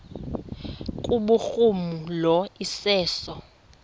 kubhuruma lo iseso